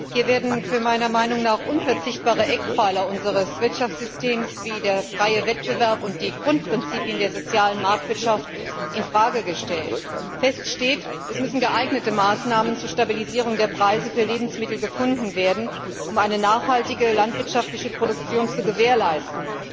Hier werden meiner Meinung nach unverzichtbare Eckpfeiler unseres Wirtschaftssystems wie der freie Wettbewerb und die Grundprinzipien der sozialen Marktwirtschaft in Frage gestellt. Fest steht, dass geeignete Maßnahmen zur Stabilisierung der Preise für Lebensmittel gefunden werden müssen, um eine nachhaltige landwirtschaftliche Produktion zu gewährleisten.